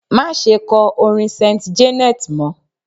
Má ṣe kọ orin Saint Janet mọ!